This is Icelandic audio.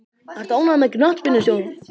Ertu ánægður með knattspyrnustjórann?